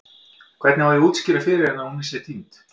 Hvernig á ég að útskýra fyrir henni að hún sé týnd?